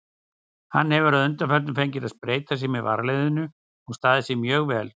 Hann hefur að undanförnu fengið að spreyta sig með varaliðinu og staðið sig mjög vel.